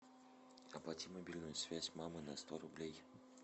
оплати мобильную связь мамы на сто рублей